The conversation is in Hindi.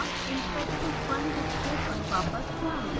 interactive 1 डिस्प्ले पर वापस जाएँ